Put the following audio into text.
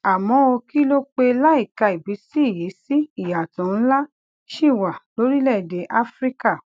àmó ó kìlò pé láìka ìbísí yìí sí ìyàtò ńlá ṣì wà lórílèèdè áfíríkà